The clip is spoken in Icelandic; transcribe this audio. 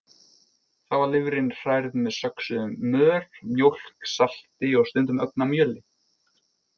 Þá var lifrin hrærð með söxuðum mör, mjólk, salti og stundum ögn af mjöli.